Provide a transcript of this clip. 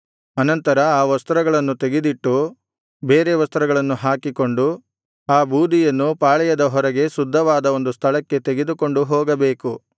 ಅನಂತರ ಆ ವಸ್ತ್ರಗಳನ್ನು ತೆಗೆದಿಟ್ಟು ಬೇರೆ ವಸ್ತ್ರಗಳನ್ನು ಹಾಕಿಕೊಂಡು ಆ ಬೂದಿಯನ್ನು ಪಾಳೆಯದ ಹೊರಗೆ ಶುದ್ಧವಾದ ಒಂದು ಸ್ಥಳಕ್ಕೆ ತೆಗೆದುಕೊಂಡು ಹೋಗಬೇಕು